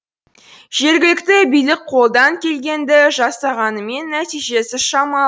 жергілікті билік қолдан келгенді жасағанымен нәтижесі шамалы